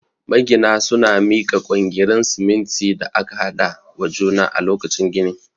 Magina suna mika kwangirin siminti da aka haɗa wa juna a lokacin gini